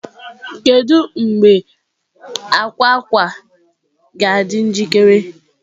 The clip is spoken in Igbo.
Kedu mgbe akwa akwa akwa ga-adị njikere?